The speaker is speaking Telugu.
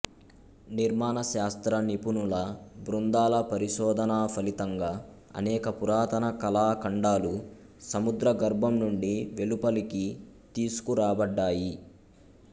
నిర్మాణశాస్త్ర నిపుణుల బృందాల పరిశోధనా ఫలితంగా అనేక పురాతన కళాఖండాలు సముద్రగర్భం నుండి వెలుపలికి తీసుకురాబడ్డాయి